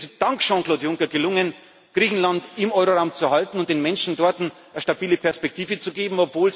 Und es ist dank Jean Claude Juncker gelungen, Griechenland im Euroraum zu halten und den Menschen dort eine stabile Perspektive zu